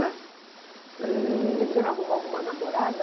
né? Eh... E o senhor arrumou alguma namorada?